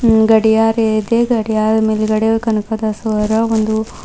ಗಡಿಯಾರ ಇದೆ ಗಡಿಯಾರ ಮೇಲ್ಗಡೆ ಕನಕದಾಸರ ಒಂದು.